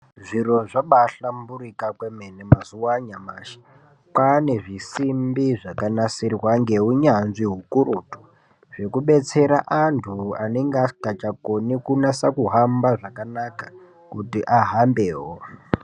Zviro zvabaahlamburika kwemene mazuwa anyamashi .Kwaane zvisimbi zvakanasirwa ngeunyanzvi ukurutu , zvekubetsera antu anenga asingachakoni kunasa kuhamba zvakanaka, kuti ahambewo.